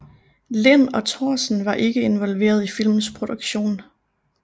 Lind og Thorsen var ikke involveret i filmens produktion